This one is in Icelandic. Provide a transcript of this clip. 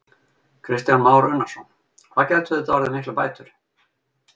Kristján Már Unnarsson: Hvað gætu þetta orðið miklar bætur?